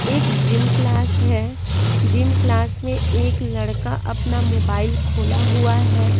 एक gym class है gym class में एक लड़का अपना मोबाइल खोला हुआ है।